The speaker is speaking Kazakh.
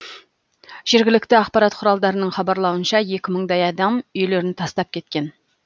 жергілікті ақпарат құралдарының хабарлауынша екі мыңдай адам үйлерін тастап кеткен